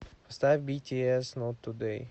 поставь битиэс нот тудэй